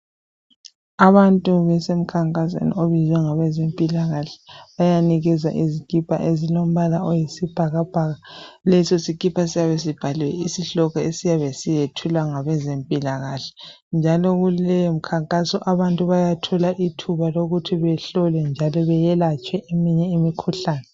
Abantu basemkhankasweni obizwe ngabezempilakahle bayanikezwa izikipa ezilombala oyisibhakabhaka , leso sikipa siyabe sibhalwe isihloko esiyabe siyethulwa ngabeze mpilakahle njalo kuleyomikhankaso abantu bayathola ithuba lokuthi behlolwe bayelatshwe eminye imikhuhlane .